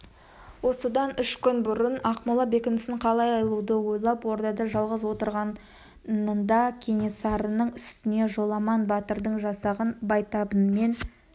осыдан үш күн бұрын ақмола бекінісін қалай алуды ойлап ордада жалғыз отырғанында кенесарының үстіне жоламан батырдың жасағынан байтабынмен